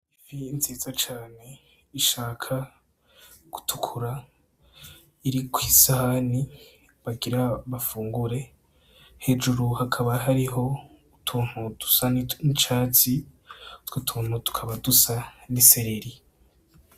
Ifi nziza cane ishaka gutukura iri kwi sahani bagira bafungure, hejuru hakaba hariho utuntu dusa n' icatsi utwo tuntu tukaba dusa n' isereri.